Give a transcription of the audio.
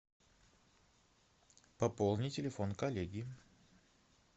пополни телефон коллеги